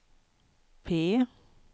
P